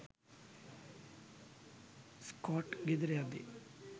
Scott ගෙදර යද්දි